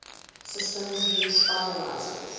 systems use finalizers